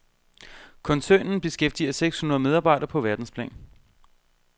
Koncernen beskæftiger seks hundrede medarbejdere på verdensplan.